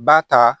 Ba ta